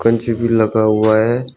निचे भी लगा हुआ है।